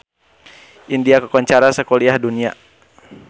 India kakoncara sakuliah dunya